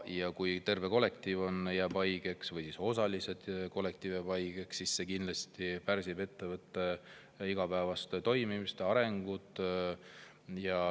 Ja kui terve kollektiiv jääb haigeks või kollektiiv jääb osaliselt haigeks, siis see kindlasti pärsib ettevõtte igapäevast toimimist ja arengut.